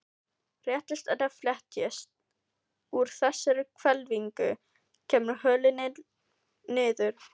Réttist eða fletjist úr þessari hvelfingu, kemur holilin niður.